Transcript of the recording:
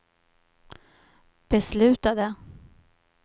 beslutade